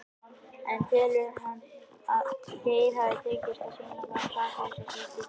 En telur hann að Geir hafi tekist að sýna fram á sakleysi sitt í dag?